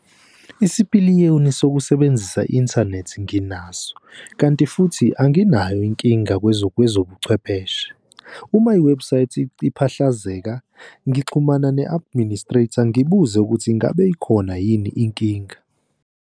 Isipiliyoni sokusebenzisa i-inthanethi nginaso, kanti futhi anginayo inkinga kwezobuchwepheshe, uma iwebhusayithi iphahlazeka ngixhumana ne-administrator ngibuze ukuthi ingabe ikhona yini inkinga.